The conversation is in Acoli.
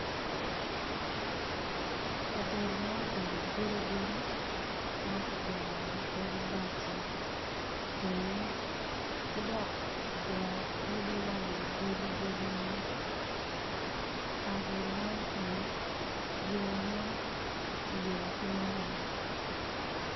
Kabedo ma obedo godigodi ki dok kigero odi wa i wi godigodi man kabedo man kono yone ki yubo ki maram